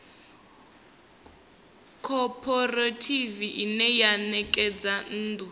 khophorethivi ine ya ṋekedza nnḓu